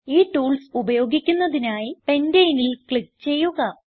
ഈ ടൂൾസ് ഉപയോഗിക്കുന്നതിനായി Pentaneൽ ക്ലിക്ക് ചെയ്യുക